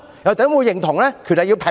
又怎會認同權力要平衡？